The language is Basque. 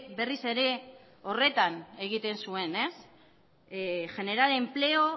berriz ere horretan egiten zuen generar empleo